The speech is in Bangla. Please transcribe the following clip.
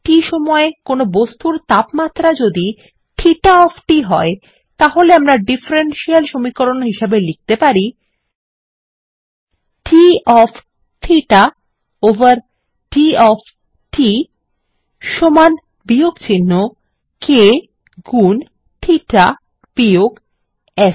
t সময়ে কোনো বস্তুর তাপমাত্রা যদি থেটা ওএফ t হয় তাহলে আমরা ডিফারেনশিয়াল সমীকরণ হিসাবে লিখতে পারি160 d of theta over d of t সমান বিয়োগচিহ্ন k গুন থেটা বিয়োগ S